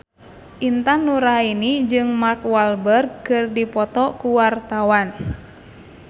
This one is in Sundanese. Intan Nuraini jeung Mark Walberg keur dipoto ku wartawan